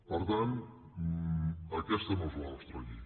per tant aquesta no és la nostra llei